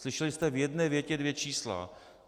Slyšeli jste v jedné větě dvě čísla.